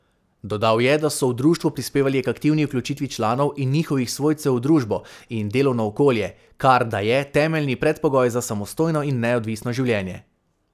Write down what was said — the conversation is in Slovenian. Dodal je, da so v društvu prispevali k aktivni vključitvi članov in njihovih svojcev v družbo in delovno okolje, kar da je temeljni predpogoj za samostojno in neodvisno življenje.